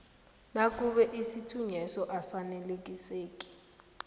nakube isithunyweso asaneliseki